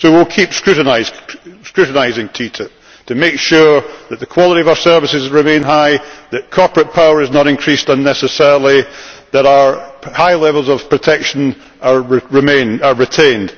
So we will keep scrutinising TTIP to make sure that the quality of our services remains high, that corporate power is not increased unnecessarily, that our high levels of protection are retained.